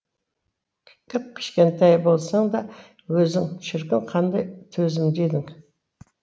кіп кішкентай болсаң да өзің шіркін қандай төзімді едің